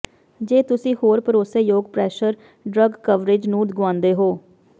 ਜੇ ਤੁਸੀਂ ਹੋਰ ਭਰੋਸੇਯੋਗ ਪ੍ਰੈਸ਼ਰ ਡਰੱਗ ਕਵਰੇਜ ਨੂੰ ਗੁਆਉਂਦੇ ਹੋ